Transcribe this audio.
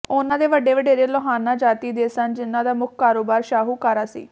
ਉਨ੍ਹਾਂ ਦੇ ਵੱਡੇ ਵਡੇਰੇ ਲੋਹਾਨਾ ਜਾਤੀ ਦੇ ਸਨ ਜਿਨ੍ਹਾਂ ਦਾ ਮੁੱਖ ਕਾਰੋਬਾਰ ਸ਼ਾਹੂਕਾਰਾ ਸੀ